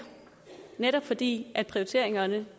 netop fordi prioriteringerne